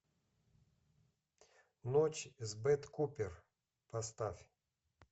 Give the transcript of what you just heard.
ночь с бет купер поставь